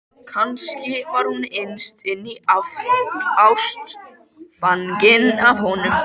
Kannski var hún innst inni ástfangin af honum.